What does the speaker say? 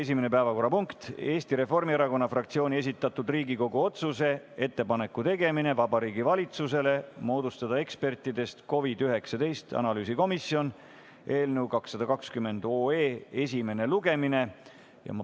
Esimene päevakorrapunkt on Eesti Reformierakonna fraktsiooni esitatud Riigikogu otsuse "Ettepaneku tegemine Vabariigi Valitsusele moodustada ekspertidest COVID-19 analüüsikomisjon" eelnõu 220 esimene lugemine.